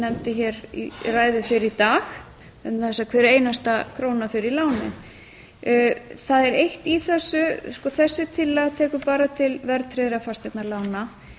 nefndi hér í ræðu fyrr í dag vegna þess að hver einasta króna fer í lánin það er eitt í þessu þessi tillaga tekur bara til verðtryggðra fasteignalána